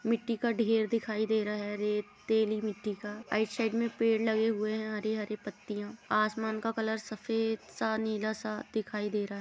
मिट्टी का ढेर दिखाई दे रहा है रेतैली मिट्टी का। राइट साइड में पेड़ लगे हुए हैं। हरी हरी पतियाँ आसमान का कलर सफेद सा सा दिखाई दे रहा है।